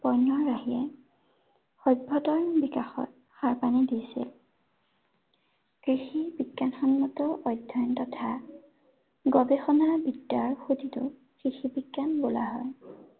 বন্য়ৰ বাহিৰে সভ্য়তাৰ বিকাশত সাৰ পানী দিছে। কৃষিৰ বিজ্ঞানসন্মত অধ্য়য়ন তথা, গৱেষণাৰ দ্বাৰা গঠিত কৃষি বিজ্ঞান বোলা হয়।